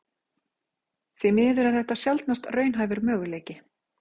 Því miður er þetta sjaldnast raunhæfur möguleiki.